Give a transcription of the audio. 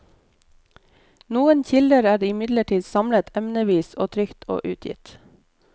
Noen kilder er imidlertid samlet emnevis og trykt og utgitt.